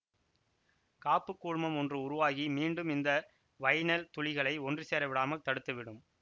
காப்புக்கூழ்மம் ஒன்று உருவாகி மீண்டும் இந்த வைனைல் துளிகளை ஒன்று சேர விடாமல் தடுத்துவிடும்